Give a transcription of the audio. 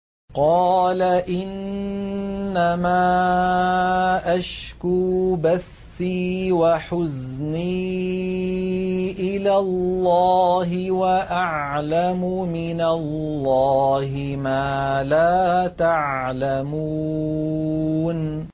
قَالَ إِنَّمَا أَشْكُو بَثِّي وَحُزْنِي إِلَى اللَّهِ وَأَعْلَمُ مِنَ اللَّهِ مَا لَا تَعْلَمُونَ